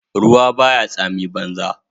Ruwa baya tsami banza